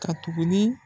Ka tuguni